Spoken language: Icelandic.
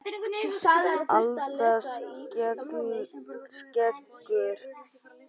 Alda skekur vatnið að nýju.